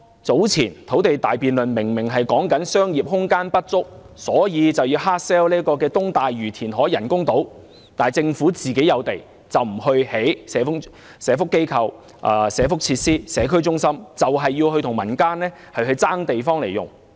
早前土地大辯論明明說商業空間不足，所以要硬銷東大嶼填海人工島，但政府有地卻不興建社福機構、社福設施和社區中心，硬要與民間爭地來用。